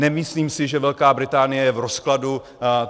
Nemyslím si, že Velká Británie je v rozkladu.